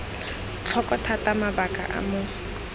tlhoko thata mabaka a mo